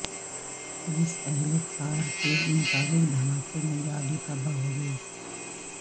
police اہلکار کے مطابق دھماکے میں گاڑی تباہ ہوگئی